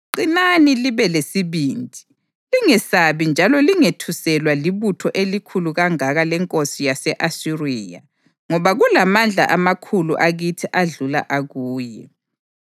“Qinani libe lesibindi. Lingesabi njalo lingethuselwa libutho elikhulu kangaka lenkosi yase-Asiriya ngoba kulamandla amakhulu akithi adlula akuye.